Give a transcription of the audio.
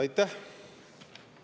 Aitäh!